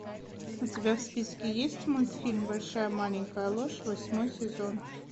у тебя в списке есть мультфильм большая маленькая ложь восьмой сезон